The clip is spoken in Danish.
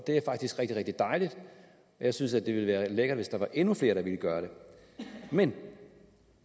er faktisk rigtig rigtig dejligt jeg synes at det ville være lækkert hvis der var endnu flere der ville gøre det men